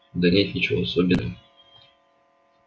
да нет ничего особенного